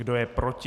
Kdo je proti?